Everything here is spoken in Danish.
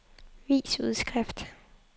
vis udskrift